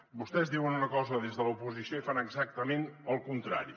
vostès diuen una cosa des de l’oposició i fan exactament el contrari